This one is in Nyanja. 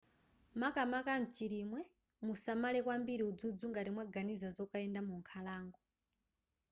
makamaka mchilimwe musamale kwambiri udzudzu ngati mwaganiza zokayenda mu nkhalango